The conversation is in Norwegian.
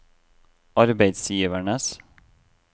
arbeidsgivernes